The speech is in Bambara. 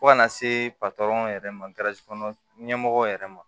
Fo ka na se yɛrɛ ma kɔnɔ ɲɛmɔgɔw yɛrɛ ma